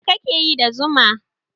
Me ka ke yi da zuma?